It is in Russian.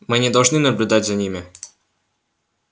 мы не должны наблюдать за ними